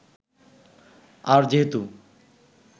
আর যেহেতু